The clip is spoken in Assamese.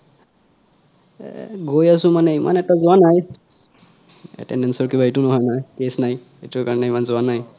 এ গৈ আছো মানে ইমানে ইমান এটা যোৱা নাই attendance ৰ কিবা এইতো হোৱা নাই case নাই এইতোৰ কাৰনে ইমান যোৱা নাই